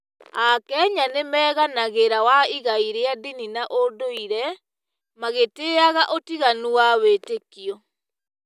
AKenya nĩ meganagĩra wa igai rĩa ndini na ũndũire, magĩtĩĩyaga ũtiganu wa wĩĩtĩkio.